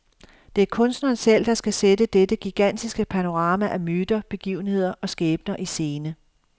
Det er kunstneren selv, der skal sætte dette gigantiske panorama af myter, begivenheder og skæbner i scene.